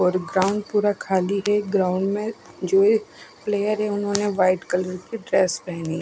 और ग्राउंड पूरा खाली है ग्राउंड में जो एक प्लेयर है उन्होंने व्हाइट कलर की ड्रेस पहनी--